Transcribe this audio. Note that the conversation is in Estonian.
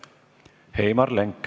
Heimar Lenk.